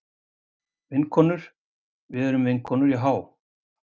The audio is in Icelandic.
Vinkonur, við erum vinkonur Jahá.